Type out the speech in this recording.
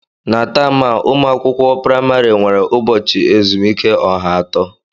Na taam a, ụmụ akwụkwọ praịmarị nwere ubochi ezumike ọha atọ.